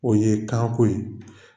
O ye kanko ye